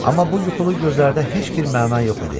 Amma bu yuxulu gözlərdə heç bir məna yox idi.